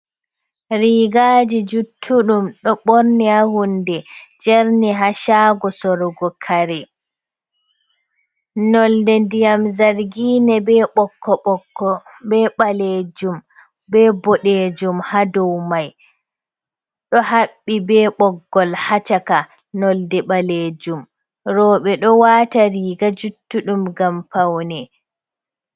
Rigaaji juttuɗum ɗo ɓorni haa hunde, jerni haa shaago sorgo kare. Nolde ndiyam zargina, be ɓokko-ɓokko, be ɓaleejum, be boɗeejum haa dow mai, ɗo haɓɓi be ɓoggol haa caka nolde ɓaleejum. Rooɓe ɗo waata riga juttuɗum ngam paune.